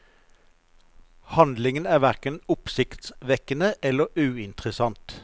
Handlingen er hverken oppsiktsvekkende eller uinteressant.